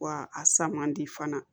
Wa a sa man di fana